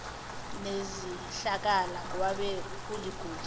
nezihlakala kwabe kuligolide